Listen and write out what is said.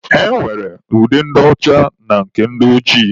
E nwere ude ndị ọcha na nke ndị ojii.